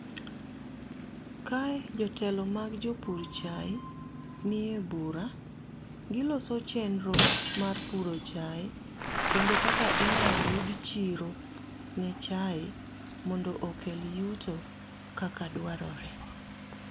kae jotelo mag jopur cha nie bura mar buro. Giloso chenro mar puro chae kendo kaka inyal yud chiro ne chae mondo okel yuto kaka dwarore.